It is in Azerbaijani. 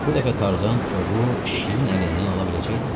Bu dəfə Tarzan ovu şirin əlindən ala biləcəkdimi?